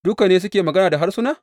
Duka ne suke magana da harsuna?